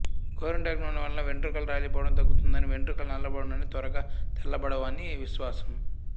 గొరింటాకు నూనెవలన వెండ్రుకలు రాలి పోవడం తగ్గుతుందని వెండ్రుకలు నల్లబడునని త్వరగా తెల్లబడవని విశ్వాసం